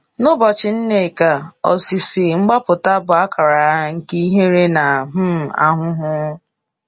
N’ụbọchị Nneka, osisi mgbapụta bụ akara nke ihere na um ahụhụ.